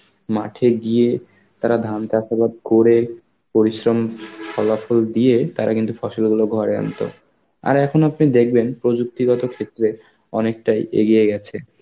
মাঠে গিয়ে তারা ধান চাষবাদ করে, পরিশ্রম ফলাফল দিয়ে তারা কিন্তু ফসলগুলো ঘরে আনতো. আর এখন আপনি দেখবেন প্রযুক্তিগত ক্ষেত্রে অনেকটাই এগিয়ে গেছে.